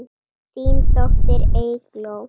Þín dóttir, Eygló.